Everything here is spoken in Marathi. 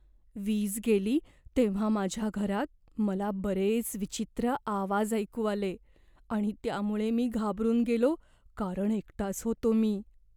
वीज गेली तेव्हा माझ्या घरात मला बरेच विचित्र आवाज ऐकू आले आणि त्यामुळे मी घाबरून गेलो कारण एकटाच होतो मी.